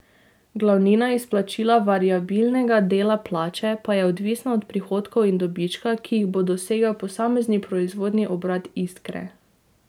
Glavnina izplačila variabilnega dela plače pa je odvisna od prihodkov in dobička, ki jih bo dosegel posamezni proizvodni obrat Iskre.